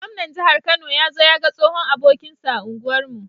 Gwamnan jahar kano yazo yaga tsohon abokinsa a unguwar mu